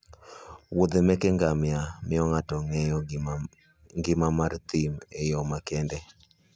Wuodhe meke ngamia miyo ng'ato ng'eyo ngima mar thim e yo makende